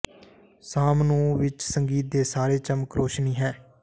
ਸ਼ਾਮ ਨੂੰ ਵਿੱਚ ਸੰਗੀਤ ਦੇ ਸਾਰੇ ਚਮਕ ਰੌਸ਼ਨੀ ਹੈ